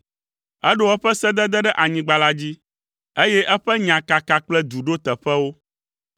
Eɖo eƒe sedede ɖe anyigba la dzi, eye eƒe nya kaka kple du ɖo teƒewo.